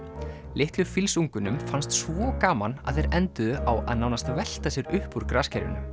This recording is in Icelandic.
litlu fannst svo gaman að þeir enduðu á að nánast velta sér upp úr